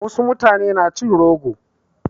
Wasu mutanen na cin rogo.